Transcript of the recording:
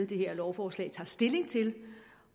det her lovforslag tager stilling til